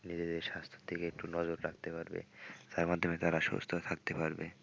নিজেদের স্বাস্থ্যের দিকে একটু নজর রাখতে পারবে তার মাধ্যমে তারা সুস্থ থাকতে পারবে।